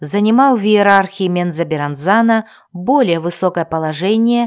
занимал в иерархии мензоберранзана более высокое положение